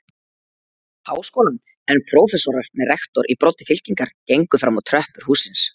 Háskólann, en prófessorar með rektor í broddi fylkingar gengu fram á tröppur hússins.